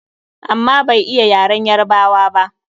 Amma bai iya yaren Yarabawa ba.